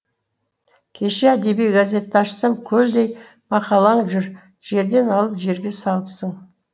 кеше әдеби газетті ашсам көлдей мақалаң жүр жерден алып жерге салыпсың